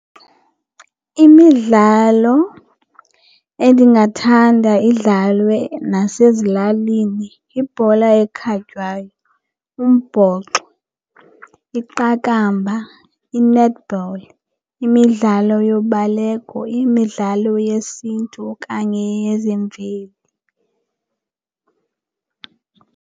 Imidlalo endingathanda idlalwe nasezilalini yibhola ekhatywayo, umbhoxo, iqakamba, i-netball imidlalo yobaleko, imidlalo yesiNtu okanye yezemveli.